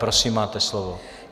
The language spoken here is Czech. Prosím máte slovo.